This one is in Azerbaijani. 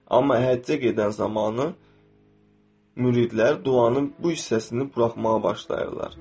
Amma həccə gedən zamanı müridlər duanın bu hissəsini buraxmağa başlayırlar.